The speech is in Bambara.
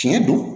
Tiɲɛ don